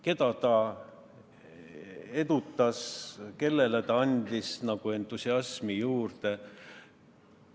Keda ta edutas, kellele ta andis entusiasmi juurde?